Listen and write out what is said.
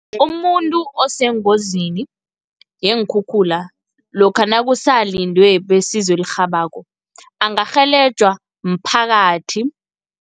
Umuntu osengozini yeenkhukhula, lokha nakusalindwe besizo elirhabako angarhelejwa mphakathi.